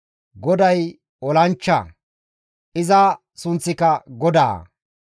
GODAY olanchcha; iza sunththika GODAA.